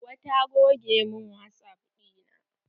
Hauwa ta goge min wasap ɗina.